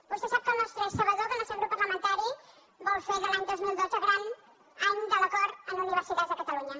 vostè sap és sabedor que el nostre grup parlamentari vol fer de l’any dos mil dotze el gran any de l’acord en universitats a catalunya